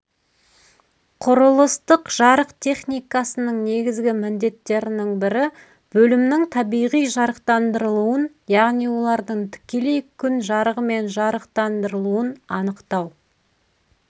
құрылыстық жарық техникасының негізгі міндеттерінің бірі бөлімнің табиғи жарықтандырылуын яғни олардың тікелей күн жарығымен жарықтандырылуын анықтау